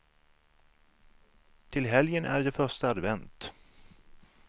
Till helgen är det första advent.